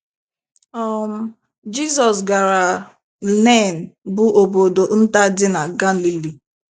um Jizọs gara Nen bụ́ obodo nta dị na Galili.